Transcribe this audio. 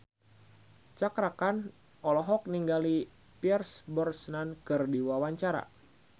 Cakra Khan olohok ningali Pierce Brosnan keur diwawancara